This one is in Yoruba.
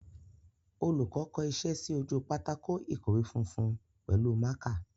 Olùkọ́ kọ iṣẹ́ sí ojú pátákó ìkọ̀wé funfun pẹ̀lú mákà.